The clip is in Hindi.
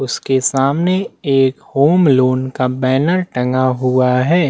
उसके सामने एक होम लोन का बैनर टंगा हुआ हैं।